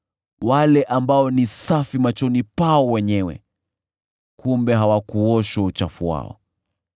wale ambao ni safi machoni pao wenyewe kumbe hawakuoshwa uchafu wao;